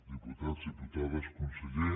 diputats diputades conseller